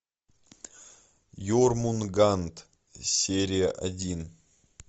ермунганд серия один